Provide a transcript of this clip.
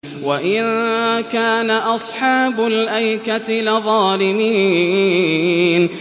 وَإِن كَانَ أَصْحَابُ الْأَيْكَةِ لَظَالِمِينَ